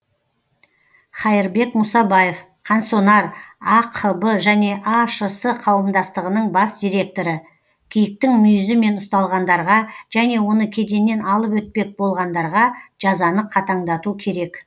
хаирбек мұсабаев қансонар ақб және ашс қауымдастығының бас директоры киіктің мүйізімен ұсталғандарға және оны кеденнен алып өтпек болғандарға жазаны қатаңдату керек